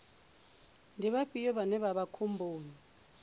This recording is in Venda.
ndi vhafhio vhane vha vha khomboni